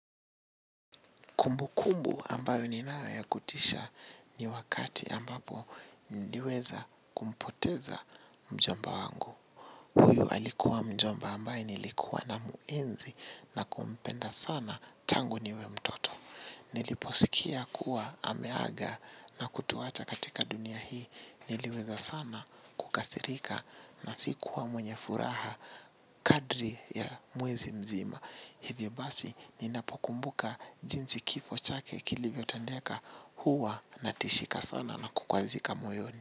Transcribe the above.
Kumbu kumbu ambayo ninayo ya kutisha ni wakati ambapo niliweza kumpoteza mjomba wangu. Huyu alikuwa mjomba ambae nilikuwa namuenzi na kumpenda sana tangu niwe mtoto. Niliposikia kuwa ameaga na kutuwacha katika dunia hii niliweza sana kukasirika na sikuwa mwenye furaha kadri ya mwenzi mzima. Hivyo basi ninapo kumbuka jinsi kifo chake kilivyo tandeka huwa na tishika sana na kukwazika moyoni.